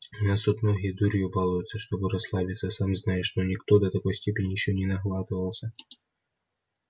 у нас тут многие дурью балуются чтобы расслабиться сам знаешь но никто до такой степени ещё не наглатывался